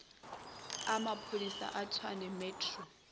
a maphodisa a tshwane metro